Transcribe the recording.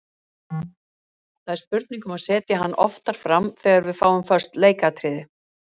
Það er spurning um að setja hann oftar fram þegar við fáum föst leikatriði.